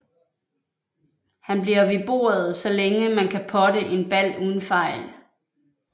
Man bliver ved bordet så længe man kan potte en bal uden fejl